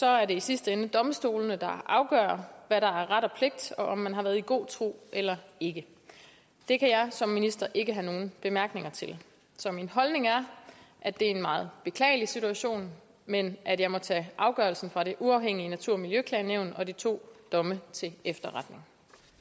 er det i sidste ende domstolene der afgør hvad der er ret og pligt og om man har været i god tro eller ikke det kan jeg som minister ikke have nogen bemærkninger til så min holdning er at det er en meget beklagelig situation men at jeg må tage afgørelsen fra det uafhængige natur og miljøklagenævn og de to domme til efterretning